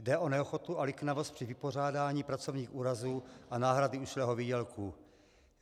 Jde o neochotu a liknavost při vypořádání pracovních úrazů a náhrady ušlého výdělku.